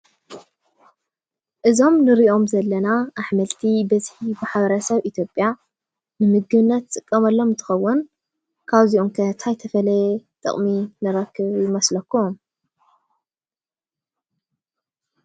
እዞም ንሪኦም ዘለና ኣሕምልቲ ብፅሒት ማሕበረሰብ ኢትዮጵያ ንምግብነት ዝጥቀመሎም እንትኸውን ካብዚኦም ከ እንታይ ተፈለየ ጥቕሚ ንረክብ ይመስለኩም?